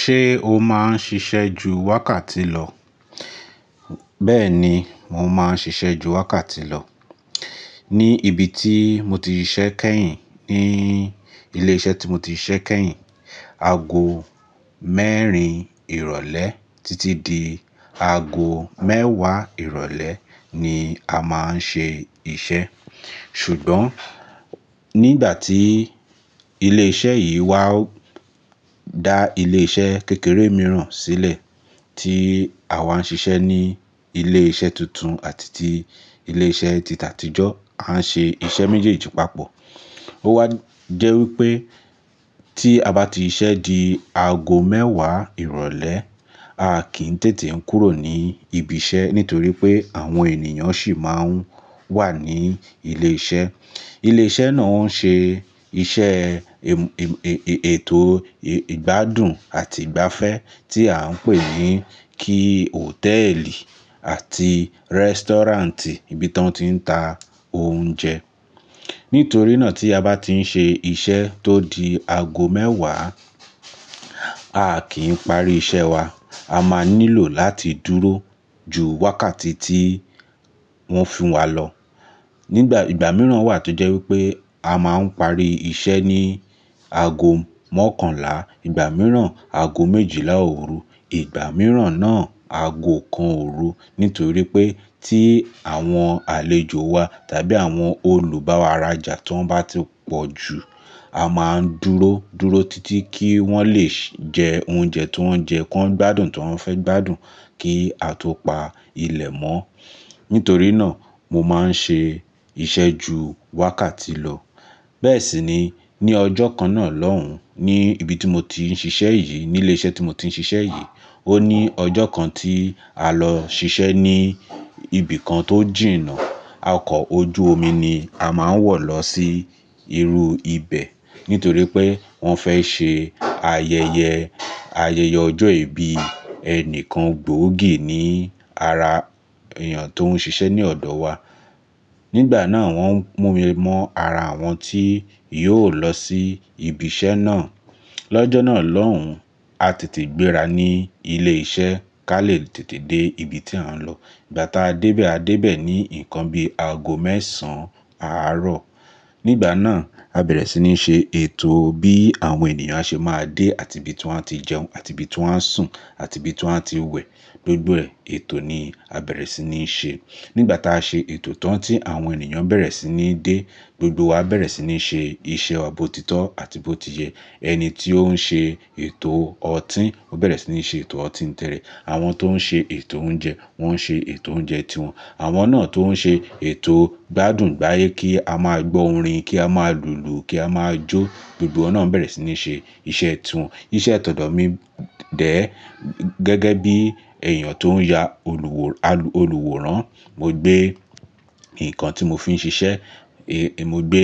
Ṣé o máa ń ṣiṣẹ́ ju wákàtí lọ? Bẹ́ẹ̀ni, mo máa ń ṣiṣẹ́ ju wákàtí lọ. Ni ibi ti mo ti ṣiṣẹ́ kẹ́yìn, ní ilé iṣẹ́ tí mo ti ṣiṣẹ́ kẹ́yìn, aago mẹ́erin ìrọ̀lẹ́ títí di aago mẹ́wàá ìrọ̀lẹ́ ni a máa ń ṣe iṣẹ́. Ṣùgbọ́n nígbà tí ilé iṣẹ́ yìí wá da ilé iṣẹ́ kékeré mìíràn sílẹ̀ tí àwa ń ṣiṣẹ́ ní ilé iṣẹ́ tuntun àti tí ilé iṣẹ́ tìtàtìjọ́ a ń ṣe iṣẹ́ méjèèjì papọ̀. Ó wá jẹ́ wípé tí a bá ti ṣiṣẹ́ di aago mẹ́wàá ìrọ̀lẹ́, a kì í tètè kúrò ní ibi iṣẹ́ nítorí pé àwọn ènìyàn sì máa ń wà ní ilé iṣẹ́. Ilé iṣẹ́ náà ń ṣe iṣẹ́ ètò ìgbádùn àti ìgbafẹ́ tí à ń pè ní kí hòtẹ́ẹ̀lì àti rẹ́stọ́ráǹtì, ibi tí wọ́n ti ń ta oúnjẹ. Nítorí náà tí a bá ti ń ṣe iṣẹ́ tó di aago mẹ́wàá, a kì í parí iṣẹ́ wa. A máa nílò láti dúró ju wákàtí tí wọ́n fún wá lọ. Nígbà ìgbà mìíràn wà tó jẹ́ wípé a máa ń parí iṣẹ́ ní aago mọ́kànlá. Ìgbà mìíràn, aago méjìlá òru. Ìgbà mìíràn náà, aago kan òru. Nítorí pé tí àwọn àlejò wa tàbí àwọn olùbáwáràjà ti won bá ti pọ̀ jù, a máa ń dúró, dúró títí kí wọ́n lè jẹ oúnjẹ ti won jẹ́ kí wọ́n gbádùn ti won fẹ́ gbádùn kí a tó pa ilẹ̀ mọ́. Nítorí náà mo máa ń ṣe iṣẹ́ ju wákàtí lọ. Bẹ́ẹ̀ sì ni ní ọjọ́ kan náà lọ́hùn-ún, ní ibi tí mo ti ń ṣiṣẹ́ yìí, ní ilé iṣẹ́ tí mo ti ń ṣiṣẹ́ yìí, ó ní ọjọ́ kan tí a lọ ṣiṣẹ́ ní ibì kan tó jìnà. Ọkọ̀ ojú omi ni a máa ń wọ̀ lọ sí irú ibẹ̀. Nítorí pé wọ́n fẹ́ ṣe ayẹyẹ, ayẹyẹ ọjọ́ ìbí ẹnìkan gbòógì ní ara èèyàn tó ń ṣiṣẹ́ ní ọ̀dọ̀ wa. Nígbà náà wọ́n mú mi mọ́ ara àwọn tí yóò lọ sí ibi iṣẹ́ náà. Lọ́jọ́ náà lọ́hùn-ún, a tètè gbéra ní ilé iṣẹ́ kí a lè tètè dé ibi tí a ń lọ. Ìgbà tá a dé bẹ̀, a dé bẹ̀ ní nǹkan bi aago mẹ́sàn án àárọ̀. Nígbà náà, a bẹ̀rẹ̀ sí ní ṣe ètò bí àwọn ènìyàn ṣe máa dé àti ibi tí wọ́n á ti jẹun àti ibi tí wọ́n á sùn àti ibi tí wọ́n á ti wẹ̀. Gbogbo ètò ni a bẹ̀rẹ̀ sí ní ṣe. Nígbà táa ṣe ètò tán tí àwọn ènìyàn bẹ̀rẹ̀ sí ní dé, gbogbo wa bẹ̀rẹ̀ sí ní ṣe iṣẹ́ wa bo títọ́ àti bó ti yẹ. Ẹni tí ó ń ṣe ètò ọtí ó bẹ̀rẹ̀ sí ní ṣe ètò ọtí ńi tire àwọn tó ń ṣe ètò oúnjẹ wọ́n ń ṣe ètò oúnjẹ tí wọn. Àwọn náà tó ń ṣe ètò ìgbádùn gba èyí kí a máa gbọ́ orin, kí a máa lùlù, kí a máa jó. Gbogbo wọn bẹ̀rẹ̀ sí ní ṣe iṣẹ́ tí wọn. Iṣẹ́ tọ̀dọ̀ mi dẹ̀ ẹ́ gẹ́gẹ́ bí èèyàn tó ń ya olùwòran, mo gbé nǹkan tí mo fi ń ṣiṣẹ́, mo gbé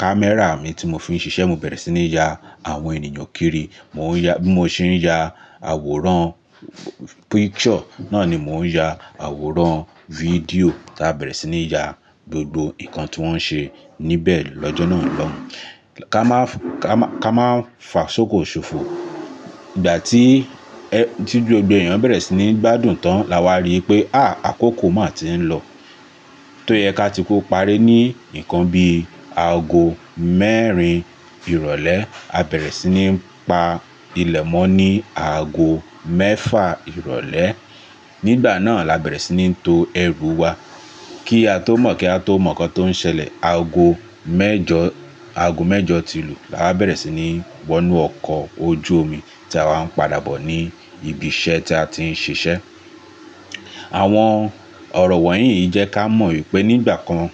kámẹ́rà mi tí mo fi ń ṣiṣẹ́, mo bẹ̀rẹ̀ sí ní ya àwọn ènìyàn kiri. Mo ń ya bí mo ṣe ń ya àwòrán, picture náà ni mò ń ya, àwòrán fídíò tá a bẹ̀rẹ̀ sí ní ya gbogbo nǹkan tí wọ́n ṣe níbẹ̀ lọ́jọ́ náà lọ́hùn-ún. Ká máa, ká máa fà sókò ṣòfò. Ìgbà tí, tí gbogbo èèyàn bẹ̀rẹ̀ sí ní gbádùn tán la wa rí wipé, àaa, àkókò máa tí ń lọ. Tó yẹ ká ti kó parí ní nǹkan bi aago mẹ́rin ìrọ̀lẹ́. A bẹ̀rẹ̀ sí ní pa ilẹ̀ mọ́ ní aago mẹ́fà ìrọ̀lẹ́. Nígbà náà là bẹ̀rẹ̀ sí ní to ẹrù wa kí a tó mọ̀ kí a tó mọ̀ ǹkan tó ń ṣẹlẹ̀. Aago mẹ́jọ, aago mẹ́jọ tí lu là wa bẹ̀rẹ̀ sí ní wọ inú ọkọ̀ ojú omi tí a wa ń padà bọ̀ ní ibi iṣẹ́ tí a ti ń ṣiṣẹ́. Àwọn ọ̀rọ̀ wọ̀nyí yí jẹ́ ká mọ̀ wípé nígbà kan,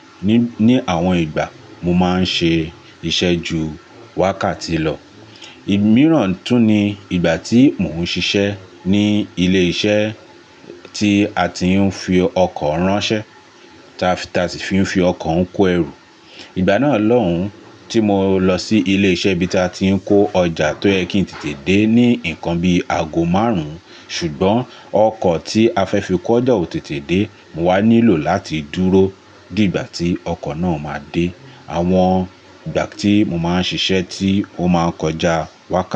ní àwọn ìgbà mo máa ń ṣe iṣẹ́ ju wákàtí lọ. Ìgbà mìíràn tún ni ìgbà tí mò ń ṣiṣẹ́ ní ilé iṣẹ́ tí a ti ń fi ọkọ̀ ránṣẹ́, tí a sì fi ọkọ̀ ń kó ẹrù. Ìgbà náà lọ́hùn-ún tí mo lọ sí ilé iṣẹ́ ibi tí a ti ń kó ọjà tó yẹ kí n tètè dé ní nǹkan bi aago márùn-ún. Ṣùgbọ́n ọkọ̀ tí a fẹ́ fi kó ọjà ò tètè dé. Mo wá nílò láti dúró di ìgbà tí ọkọ̀ náà máa dé. Àwọn ìgbà tí mo máa ń ṣiṣẹ́ tí ó máa ń kọjá wákàtí.